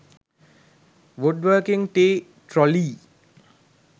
wood working tea trolley